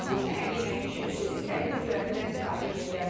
Bu səhər yeməyi üçün siz istədiyiniz göyərtilərdən istifadə eləyə bilərsiniz.